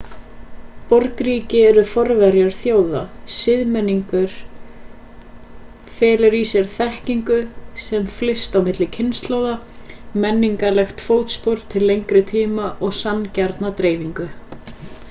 borgríki eru forverar þjóða siðmenning felur í sér þekkingu sem flyst á milli kynslóða menningarlegt fótspor til lengri tíma og sanngjarna dreifingu